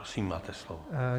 Prosím, máte slovo.